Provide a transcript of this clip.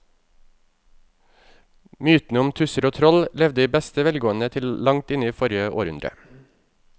Mytene om tusser og troll levde i beste velgående til langt inn i forrige århundre.